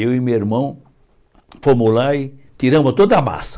Eu e meu irmão fomos lá e tiramos toda a massa.